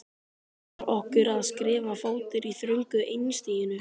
Var okkur að skrika fótur í þröngu einstiginu?